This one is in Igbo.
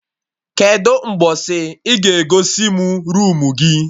Kedụ mgbọsị ị ga egosi mụ roomu gị?